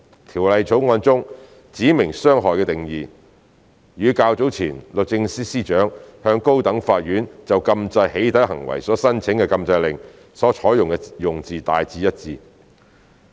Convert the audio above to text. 《條例草案》中"指明傷害"的定義，與較早前律政司司長向高等法院就禁制"起底"行為所申請的禁制令所採用的用字大致一致。